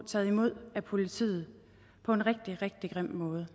taget imod af politiet på en rigtig rigtig grim måde